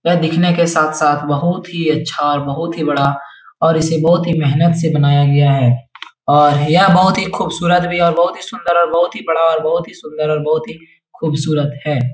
यह दिखने के साथ साथ बहुत ही अच्छा और बहुत ही बड़ा और इसे बहुत ही मेहनत से बनाया गया है और यह बहुत ही खूबसूरत भी और बहुत ही सुंदर बहुत ही बड़ा बहुत ही सुंदर और बहुत ही खूबसूरत है।